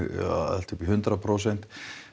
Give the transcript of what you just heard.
allt upp í hundrað prósent